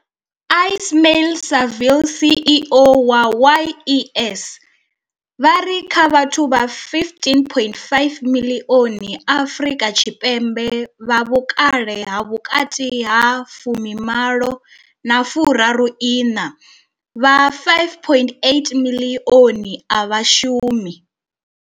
Ismail-Saville CEO wa YES, vha ri kha vhathu vha 15.5 miḽioni Afrika Tshipembe vha vhukale ha vhukati ha 18 na 34, vha 5.8 miḽioni a vha shumi.